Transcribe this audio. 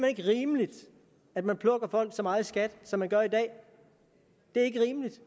ikke rimeligt at man plukker folk så meget i skat som man gør i dag det er ikke rimeligt